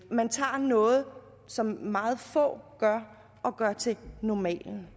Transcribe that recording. at man tager noget som meget få gør og gør til normalen